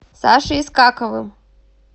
сашей искаковым